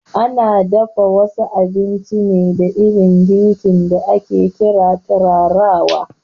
Ana dafa wasu abinci ne da irin girki da ake ƙira turarawa